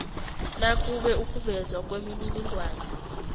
nakube ukuvezwa kwemininingwana